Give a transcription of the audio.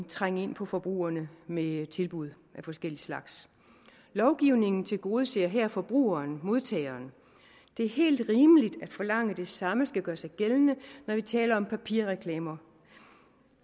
trænge ind på forbrugerne med tilbud af forskellig slags lovgivningen tilgodeser her forbrugeren modtageren det er helt rimeligt at forlange at det samme skal gøre sig gældende når vi taler om papirreklamer